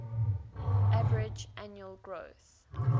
average annual growth